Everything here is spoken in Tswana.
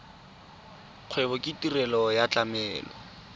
kgwebo ke tirelo ya tlamelo